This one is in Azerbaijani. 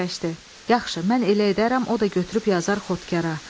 Yaxşı, mən elə edərəm, o da götürüb yazar xotkara.